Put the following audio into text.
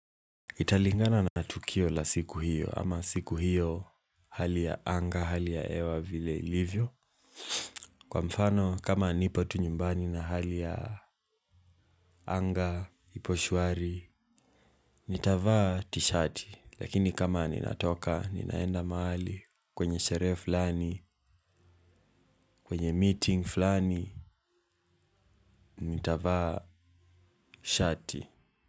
Italingana na tukio la siku hiyo ama siku hiyo hali ya anga hali ya hewa vile ilivyo kwa mfano kama nipo tu nyumbani na hali ya anga ipo shwari. Nitavaa tishati lakini kama ninatoka ninaenda mahali kwenye sheree fulani kwenye meeting fulani nitavaa shati.